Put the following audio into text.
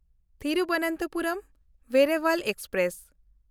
ᱛᱷᱤᱨᱩᱵᱚᱱᱛᱚᱯᱩᱨᱚᱢ–ᱵᱮᱨᱟᱵᱟᱞ express